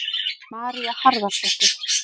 María Harðardóttir.